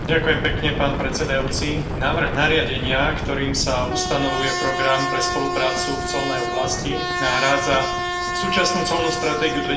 Ďakujem pekne pán predsedajúci, návrh nariadenia, ktorým sa ustanovuje program pre spoluprácu v colnej oblasti, nahrádza súčasnú colnú stratégiu